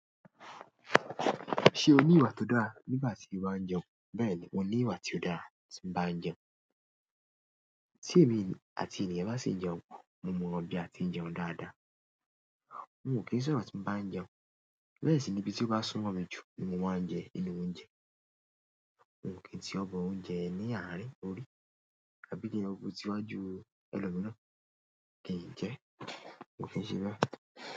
Ṣé o ní ìwà tó dáa nígbà tí o bá ń jẹun? Bẹ́ẹ̀ ni, mo ní ìwà tí ó dá tí ń bá ń jẹun. Tí èmi àti ènìyàn bá sì ń jẹun pọ̀, mo mọ bí a ti ń jẹun dáadáa. Mi ò kí ń sọ̀rọ̀ tí ń bá ń jẹun. Bẹ́ẹ̀ sì ni ibi tí ó bá sún mọ́ mi jù ni mo máa ń jẹ inú oúnjẹ. Mi ò kí n tí ọbọ oúnjẹ ẹni àárín orí, àbí kí n lọ bu tiwájú ẹlòmìíràn. Kò kí n jẹ, kò kí n ṣe bẹ́ẹ̀.